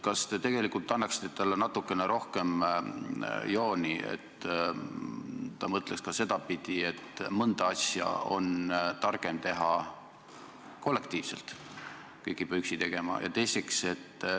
Kas te tegelikult lubaksite talle natukene rohkem jooni, et ta mõtleks ka sedapidi, et mõnda asja on targem teha kollektiivselt, kõike ei pea üksi tegema?